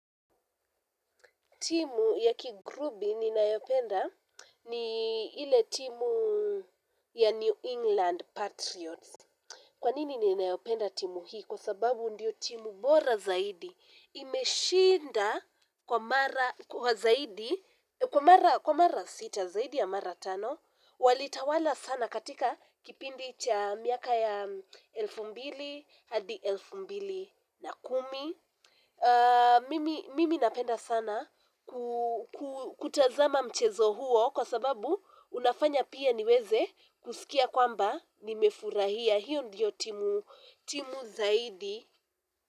Timu ya kirugbi ninayopenda ni ile timu ya New England Patriots. Kwa nini ninaipenda timu hii? Kwa sababu ndiyo timu bora zaidi. Imeshinda kwa mara sita zaidi ya mara tano. Walitawala sana katika kipindi cha miaka ya elfu mbili hadi elfu mbili na kumi. Mimi napenda sana kutazama mchezo huo kwa sababu unafanya pia niweze kusikia kwamba nimefurahia hiyo ndiyo timu zaidi.